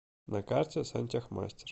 на карте сантехмастер